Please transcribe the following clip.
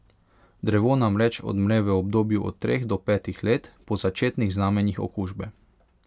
Drevo namreč odmre v obdobju od treh do petih let po začetnih znamenjih okužbe.